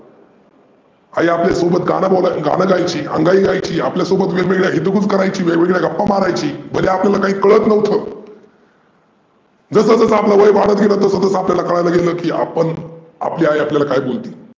आई आपल्या सोबत गाण बोला गाण गायची, अंगाई गायची आपल्या सोबत वेगवेगळ्या हितगुज करायची, वेगवेगळ्या गप्पा मारायची म्हणजे आपल्याला काही कळत नव्हतं. जसं जसं आपलं वय वाढत गेलं तसं तसं आपल्याला कळायला लागल की आपण आपली आई आपल्याला काय बोलती.